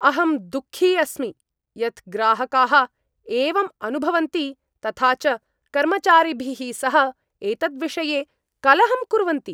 अहं दुःखी अस्मि यत् ग्राहकाः एवम् अनुभवन्ति तथा च कर्मचारिभिः सह एतद्विषये कलहं कुर्वन्ति।